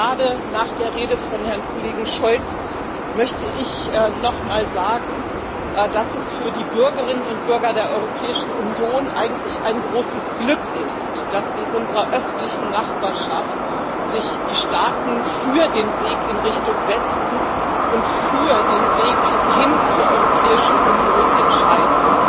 Gerade nach der Rede von Herrn Kollegen Scholz möchte ich noch mal sagen, dass es für die Bürgerinnen und Bürger der Europäischen Union eigentlich ein großes Glück ist, dass sich die Staaten in unserer östlichen Nachbarschaft für den Weg in Richtung Westen und für den Weg hin zur Europäischen Union entscheiden.